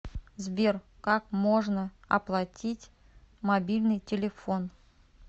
сбер как можно оплатить мобильный телефон